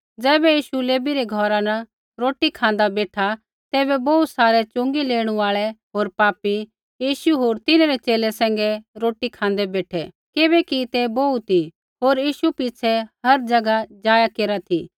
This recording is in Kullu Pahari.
ज़ैबै यीशु लेवी रै घौरा न रोटी खाँदा बेठा तैबै बोहू सारै च़ुँगी लेणु आल़ै होर पापी यीशु होर तिन्हरै च़ेले सैंघै रोटी खाँदै बेठै किबैकि ते बोहू ती होर यीशु पिछ़ै हर ज़ैगा जाया केरा ती